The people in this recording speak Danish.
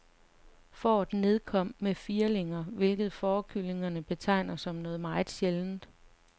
Fåret nedkom med firlinger, hvilket fårekyndige betegner som noget meget sjældent.